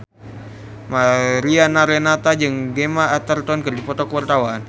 Mariana Renata jeung Gemma Arterton keur dipoto ku wartawan